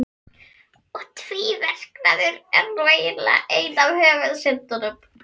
Og tvíverknaður er nú eiginlega ein af höfuðsyndunum.